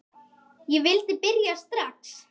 Ég vildi byrja strax.